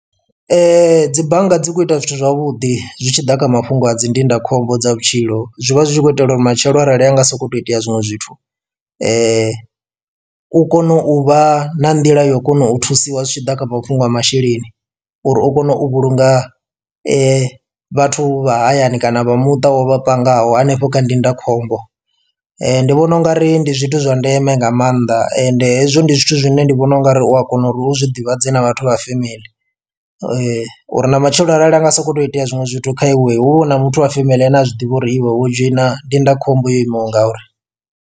Dzi bannga dzi kho ita zwithu zwavhuḓi zwi tshi ḓa kha mafhungo a dzi ndindakhombo dza vhutshilo zwi vha zwi tshi khou itela uri matshelo arali ha nga sokou tou itea zwiṅwe zwithu u kone u vha na nḓila ya u kona u thusiwa zwi tshi ḓa kha mafhungo a masheleni uri u kone u vhulunga vhathu vha hayani kana vha muṱa wovha pangaho hanefho kha ndindakhombo. Ndi vhona ungari ndi zwithu zwa ndeme nga maanḓa ende hezwo ndi zwithu zwine ndi vhona ungari u a kona uri uzwi ḓivhadze na vhathu vha family uri na matshelo arali anga soko to itea zwiṅwe zwithu kha iwe hu vha hu na muthu wa family ane a zwiḓivha uri iwe wo dzhoina ndindakhombo yo imaho ngauri.